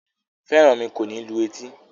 Feranmi kò ní lù etí